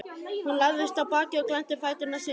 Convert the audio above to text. Hún lagðist á bakið og glennti fæturna sundur.